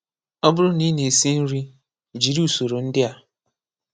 Ọ bụrụ na ị na-esi nri, jiri usoro ndị a: